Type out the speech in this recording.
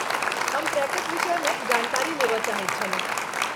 हम ट्रेकक विषयमे जानकारी लेबय चाहैत छलहुँ।